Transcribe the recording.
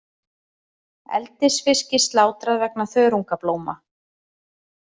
Eldisfiski slátrað vegna þörungablóma